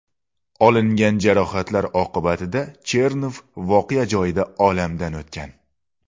Olingan jarohatlar oqibatida Chernov voqea joyida olamdan o‘tgan.